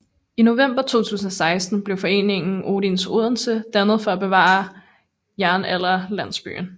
I november 2016 blev foreningen Odins Odense dannet for at bevare Jernalderlandsbyen